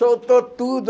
Soltou tudo.